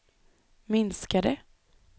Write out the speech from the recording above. minskade